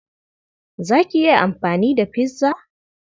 Za ki iya amfani da pizza?